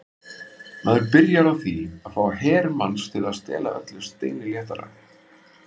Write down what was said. Maður byrjar á því að fá her manns til að stela öllu steini léttara.